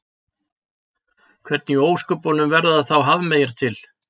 hvernig í ósköpunum verða þá hafmeyjar til